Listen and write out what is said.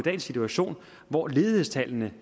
en situation hvor ledighedstallene